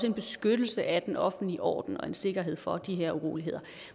en beskyttelse af den offentlige orden og en sikkerhed for de uroligheder